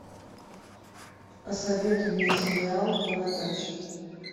посоветуй мне сериал бородач